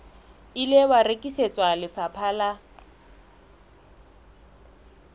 ile wa rekisetswa lefapha la